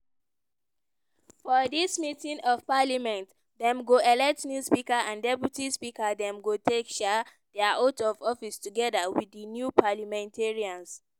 for dis meeting of parliament dem go elect new speaker and deputy speaker dem go take um dia oath of office togeda wit di new parliamentarians.